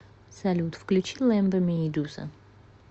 салют включи лэмбо мии дуза